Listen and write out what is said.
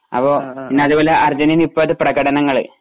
അപ്പൊ പിന്നതുമല്ല അർജെന്റീനയുടെ ഇപ്പഴുത്തേ പ്രകടനകള്